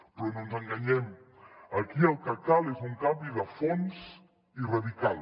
però no ens enganyem aquí el que cal és un canvi de fons i radical